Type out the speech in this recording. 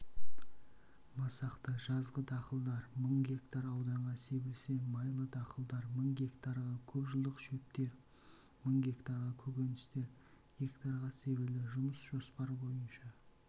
масақты жазғы дақылдар мың гектар ауданға себілсе майлы дақылдар мың гектарға көпжылдық шөптер мың гектарға көкөністер гектарға себілді жұмыс жоспар бойынша